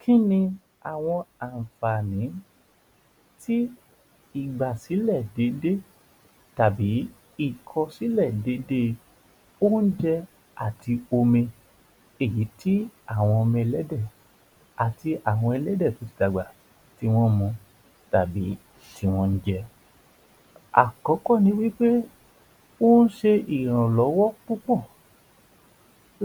Kí ni àwọn àǹfààní tí ìgbà tí ilẹ̀ dédé tàbí ìgbà tí ìkọ̀sílẹ̀ dédé oúnjẹ àti omi, èyí tí àwọn ọmọ ẹlẹ́dẹ̀ àti àwọn ẹlẹ́dẹ̀ tí ó ti dàgbà tí wọ́n mu tàbí tí wọ́n ń jẹ́. Àkọ́kọ́ ni pé, ó ń ṣe ìrànlọ́wọ́ púpọ̀